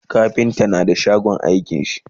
kafinta na da shagon aikin shi